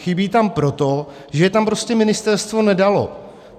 Chybí tam proto, že je tam prostě ministerstvo nedalo.